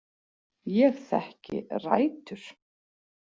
Ég þekki Rætur.